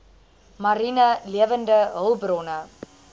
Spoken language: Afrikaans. mariene lewende hulpbronne